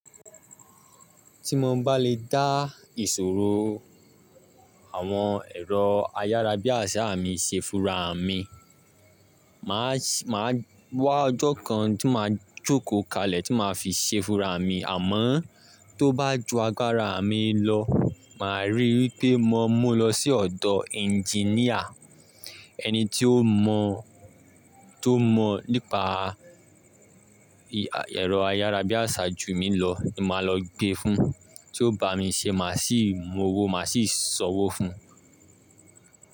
Tí mo bá lè dá ìṣòro àwọn ẹ̀rọ ayárabíàṣá mi ṣe fúnra mi, màá ṣé, màá wá ọjọ́ kan tí màá jókòó kalẹ̀ tí màá fi ṣe fúnra mi. Àmọ́ tó bá ju agbára mi lọ, màá ríi wípé mo mú lọ sí ọ̀dọ̀ engineer. Ẹni tí ó mọ, tó mọ̀ nípa ẹ̀rọ ayárabíàṣá jù mí lọ ni màá lọ gbé fun. Tí ó bá mi ṣe màá sì mowo, màá sì sanwo fún un.